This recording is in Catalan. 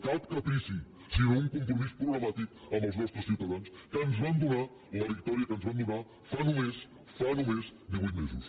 cap caprici sinó un compromís programàtic amb els nostres ciutadans que ens van donar la victòria que ens van donar fa només fa només divuit mesos